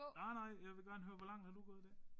Nej nej jeg vil gerne høre hvor langt har du gået i dag?